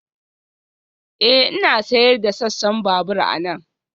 Ee, Ina sayar da sassan babur anan